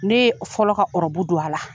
Ne ye fɔlɔ ka ɔrɔbu don a la.